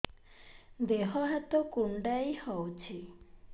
ଦେହ ହାତ କୁଣ୍ଡାଇ ହଉଛି